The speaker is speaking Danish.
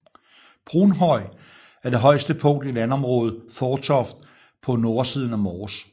Brunhøj er det højeste punkt i landområdet Fårtoft på nordsiden af Mors